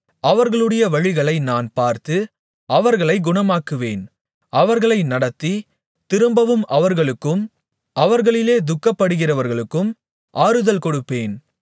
அவர்களுடைய வழிகளை நான் பார்த்து அவர்களைக் குணமாக்குவேன் அவர்களை நடத்தி திரும்பவும் அவர்களுக்கும் அவர்களிலே துக்கப்படுகிறவர்களுக்கும் ஆறுதல் கொடுப்பேன்